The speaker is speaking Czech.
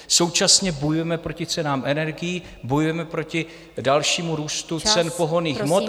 Současně bojujeme proti cenám energií, bojujeme proti dalšímu růstu cen pohonných hmot.